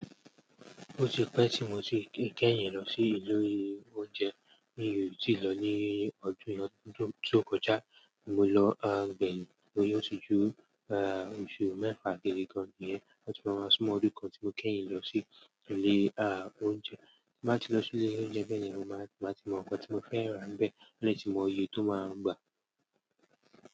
Ó ti pẹ́ tí mo ti kẹ́yìn lọ sí ilé oúnjẹ mi tí ì lọ ní ọdún tó kọjá, mo lọ à gbẹ̀yìn lórí ọtí júù, à oṣù mẹ́fà gẹ́gẹ́ bí ẹni yẹn, ó ti máa san ọdún kan tí mo kẹ́yìn lọ sí ilé à oúnjẹ. Bí mà tí lọ sí ilé oúnjẹ bẹ́yen ni mo máa ti mọ nǹkan tí mo fẹ́ rà bẹ́ẹ̀, àní tí mo yẹ tó máa gbà.